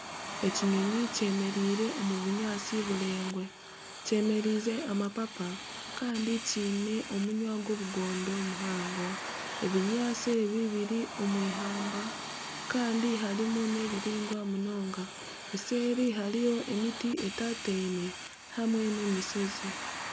Ekinyonyi kyemereire omu bunyaantsi buraingwa, kyemereize amapapa kandi kyine omunwa gw'obugondo muhango. Ebinyaantsi ebi biri omu eihamba kandi harimu n'ebireingwa munonga eseeri hariyo emiti etataine hamwe na emishozi.